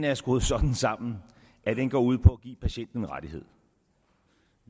er skruet sådan sammen at den går ud på at give patienten en rettighed